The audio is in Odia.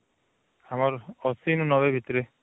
ଆମର ୮୦ ନୁ ୯୦ ଭିତରେ